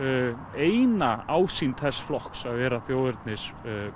eina ásýnd þess flokks að vera þjóðernis